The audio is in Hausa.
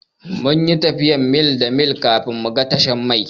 Mun yi tafiyar mil da mil kafin mu ga tashar mai.